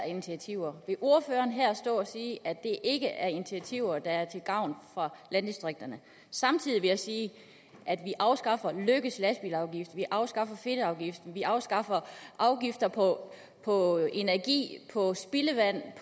initiativer vil ordføreren stå her og sige at det ikke er initiativer der er til gavn for landdistrikterne samtidig vil jeg sige at vi afskaffer at vi afskaffer fedtafgiften at vi afskaffer afgifter på på energi